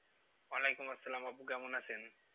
ওয়ালাইকুম আসসালাম আপু কেমন আছেন?